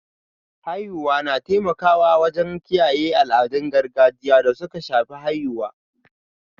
Haihuwa na taimakawa wajen kiyaye al'adun gargajiya da suka shafi haihuwa.